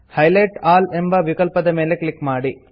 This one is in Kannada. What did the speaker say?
ಹೈಲೈಟ್ ಆಲ್ ಎಂಬ ವಿಕಲ್ಪದ ಮೇಲೆ ಕ್ಲಿಕ್ ಮಾಡಿ